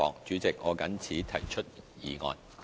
主席，我謹此提出議案。